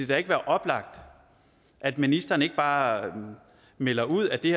da ikke være oplagt at ministeren ikke bare melder ud at det